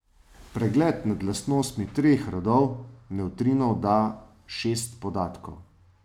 Pregled nad lastnostmi treh rodov nevtrinov da šest podatkov.